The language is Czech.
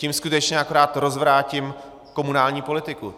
Tím skutečně akorát rozvrátím komunální politiku.